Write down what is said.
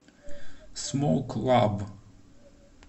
смоук лаб